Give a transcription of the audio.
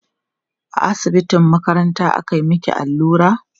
a asibitin makaranta aka maki allura?